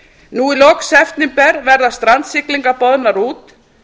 nú loks í september verða strandsiglingar boðnar út